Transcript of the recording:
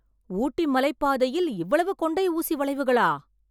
ஊட்டி மலைப்பாதையில் இவ்வளவு கொண்டை ஊசி வளைவுகளா?